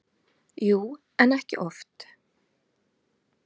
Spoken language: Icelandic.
Jú, en ekki oft.